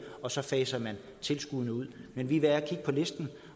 og så faser vi tilskuddene ud men vi er ved at kigge på listen